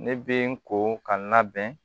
Ne bɛ n ko ka labɛn